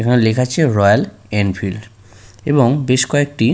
এখানে লেখা আছে রয়্যাল এনফিল্ড এবং বেশ কয়েকটি--